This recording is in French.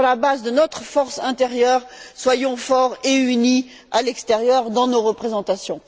Sur la base de notre force intérieure, soyons forts et unis à l'extérieur dans nos représentations.